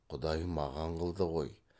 құдай маған қылды ғой